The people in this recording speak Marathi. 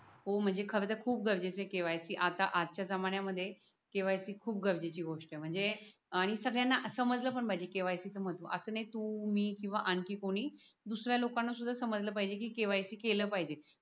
हो म्हणजे खर तर खूप गरजेचे KYC आता आजच्या जमान्यांमध्ये KYC खूप गरजेची गोष्ट म्हणजे आणि सगळ्यांना समजलं पण पाहिजे KYC चे महत्व असं नाही तू मी किंवा आणखी कोणी दुसऱ्या लोकांना सुद्धा समजलं पाहिजे की KYC केलं पाहिजे.